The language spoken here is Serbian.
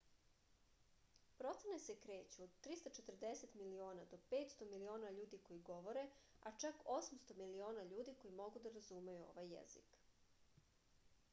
procene se kreću od 340 miliona do 500 miliona ljudi koji govore a čak 800 miliona ljudi koji mogu da razumeju ovaj jezik